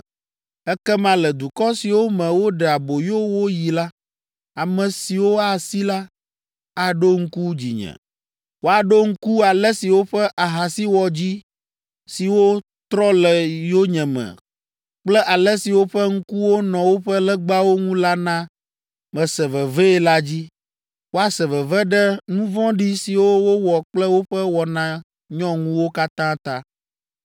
Ekema le dukɔ siwo me woɖe aboyo wo yi la, ame siwo asi la, aɖo ŋku dzinye. Woaɖo ŋku ale si woƒe ahasiwɔdzi siwo trɔ le yonyeme kple ale si woƒe ŋkuwo nɔ woƒe legbawo ŋu la na mese vevee la dzi, woase veve ɖe nu vɔ̃ɖi siwo wowɔ kple woƒe wɔna nyɔŋuwo katã ta.